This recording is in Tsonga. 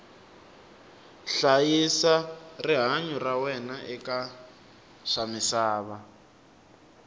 hlayisa rihanyu ra wena eka swamisava